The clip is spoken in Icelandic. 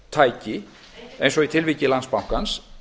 uppgjörstæki eins og í tilviki landsbankans